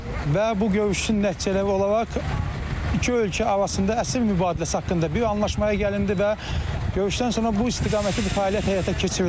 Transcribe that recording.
Və bu görüşün nəticələri olaraq iki ölkə arasında əsir mübadiləsi haqqında bir anlaşmaya gəlindi və görüşdən sonra bu istiqamətdə bu fəaliyyət həyata keçirildi.